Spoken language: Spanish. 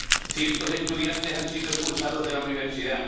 cientos de estudiantes han sido expulsados de la universidad